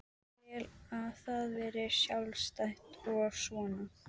Vil að það verði sjálfstætt og svona.